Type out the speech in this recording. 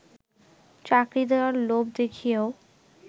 চাকরি দেয়ার লোভ দেখিয়েও